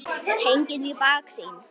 Hengill í baksýn.